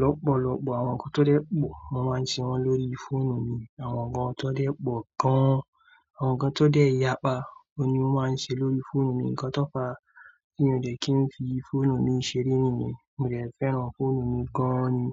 lọ́pọ̀lọpọ̀. Àwọn nǹkan tó dẹ́ pọ̀, mo máa ń ṣe wọ́n lórí fóònù mi. Àwọn nǹkan tó dẹ́ pọ̀ gan, àwọn nǹkan tó dẹ́ yapa o ni mo máa ń ṣe lórí fóònù mi. Ǹkan tó pa tí mo dẹ̀ kí n fi fóònù mi ṣeré nìyẹn. Mo dẹ̀ fẹ́ràn fóònù mi gan-an ni.